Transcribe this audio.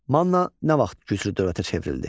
Manna nə vaxt güclü dövlətə çevrildi?